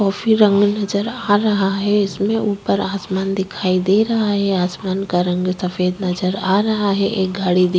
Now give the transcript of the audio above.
Coffee रंग नजर आ रहा है इसमें। ऊपर आसमान दिखाई दे रहा है आसमान का रंग सफेद नजर आ रहा है। एक गाड़ी दी --